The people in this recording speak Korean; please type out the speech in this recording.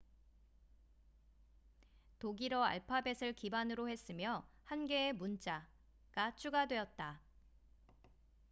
"독일어 알파벳을 기반으로 했으며 1개의 문자 "õ/õ""가 추가되었다.